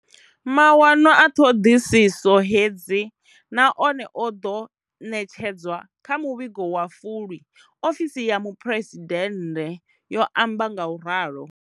Mawanwa a ṱhoḓisiso hedzi na one o ḓo ṋetshedzwa kha muvhigo wa Fulwi, ofisi ya muphuresidennde yo amba nga u ralo.